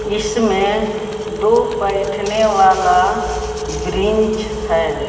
इसमे दो बइठने वाला ब्रिंच है।